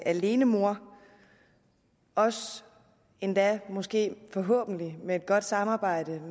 alenemor også endda måske forhåbentlig med et godt samarbejde